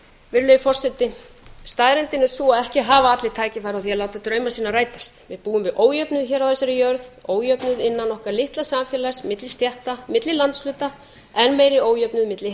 í neyð staðreyndin er sú að ekki hafa allir tækifæri á því að láta drauma sína rætast við búum við ójöfnuð á þessari jörð ójöfnuð innan okkar litla samfélags milli stétta milli landshluta enn meiri ójöfnuð milli